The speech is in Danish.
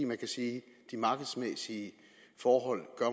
man kan sige at de markedsmæssige forhold